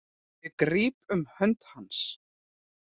Ég gríp um hönd hans.